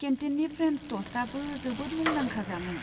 केन्टिननि friends टस्टआबो जोबोद मुदांखा जामुं।